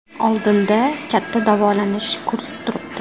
Oldinda katta davolanish kursi turibdi.